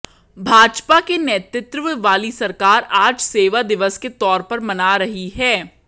भाजपा के नेतृत्व वाली सरकार आज सेवा दिवस के तौर पर मना रही है